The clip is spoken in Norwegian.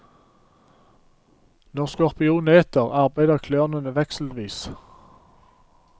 Når skorpionen eter, arbeider klørene vekselvis.